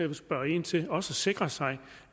vil spørge ind til og sikre sig